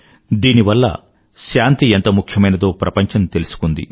దీనివల్ల శాంతి ఎంత ముఖ్యమైనదో ప్రపంచం తెలుసుకుంది